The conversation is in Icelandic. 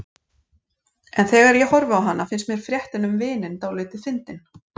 En þegar ég horfi á hana finnst mér fréttin um vininn dálítið fyndin.